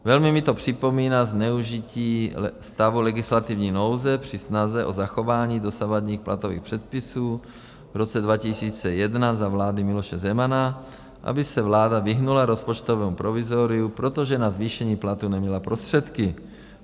Velmi mi to připomíná zneužití stavu legislativní nouze při snaze o zachování dosavadních platových předpisů v roce 2001 za vlády Miloše Zemana, aby se vláda vyhnula rozpočtovému provizoriu, protože na zvýšení platů neměla prostředky.